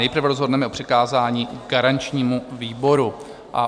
Nejprve rozhodneme o přikázání garančnímu výboru.